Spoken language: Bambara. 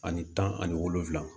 Ani tan ani wolonvula